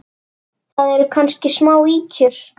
Það eru kannski smá ýkjur.